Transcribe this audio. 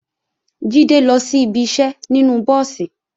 Jídé lọ sí ibi iṣẹ́ nínú búùsì